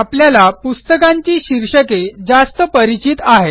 आपल्याला पुस्तकांची शीर्षके जास्त परिचित आहेत